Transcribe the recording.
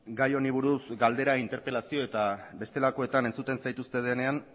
gai honi buruz galdera interpelazio eta bestelakoetan entzuten zaituztedanean